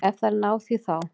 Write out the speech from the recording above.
Ef þær ná því þá.